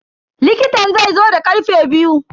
likitan zaizo da karfe biyu.